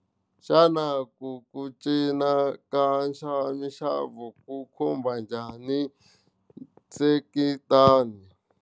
Xana ku ku cinca ka minxavo ku khumba njhani nseketano.